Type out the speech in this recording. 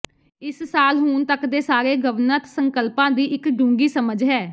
ਇਸ ਸਾਲ ਹੁਣ ਤੱਕ ਦੇ ਸਾਰੇ ਗਵਣਤ ਸੰਕਲਪਾਂ ਦੀ ਇੱਕ ਡੂੰਘੀ ਸਮਝ ਹੈ